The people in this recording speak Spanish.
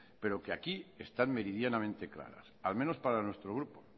pero que aquí están meridianamente claras al menos para nuestro grupo